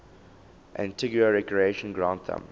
antigua recreation ground thumb